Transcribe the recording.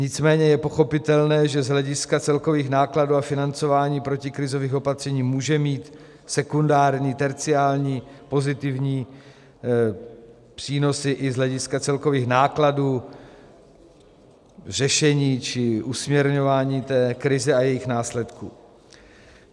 Nicméně je pochopitelné, že z hlediska celkových nákladů a financování protikrizových opatření může mít sekundární, terciární pozitivní přínosy i z hlediska celkových nákladů řešení či usměrňování té krize a jejích následků.